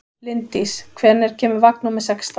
Linddís, hvenær kemur vagn númer sextán?